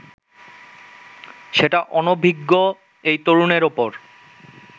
সেটা অনভিজ্ঞ এই তরুণের ওপর